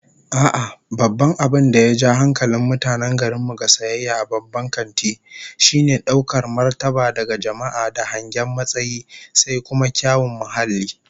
A'a, babban abin da ya ja hankalin mutanen garin mu ga sayayya a babban kanti, shine daukar martabar daga jama'a da hangen matsayi, sai kuma kyawun muhalli